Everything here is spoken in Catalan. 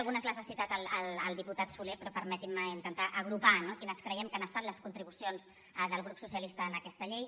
algunes les ha citat el diputat solé però permetin me intentar agrupar no quines creiem que han estat les contribucions del grup socialista en aquesta llei